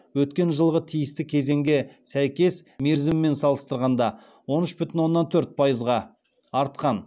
өткен жылғы тиісті кезеңге сәйкес мерзімімен салыстырғанда он үш бүтін оннан төрт пайызға артқан